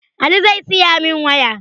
Ali zai siyamin waya